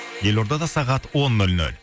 елордада сағат он нөл нөл